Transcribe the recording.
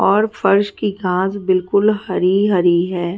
और फर्श की घास बिलकुल हरी हरी है।